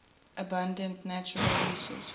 abundant natural resources